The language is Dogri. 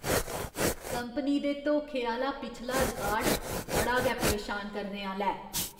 कंपनी दे धोखे आह्‌ला पिछला रिकार्ड बड़ा गै परेशान करने आह्‌ला ऐ ।